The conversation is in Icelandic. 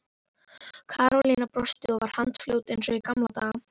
Karólína brosti og var handfljót eins og í gamla daga.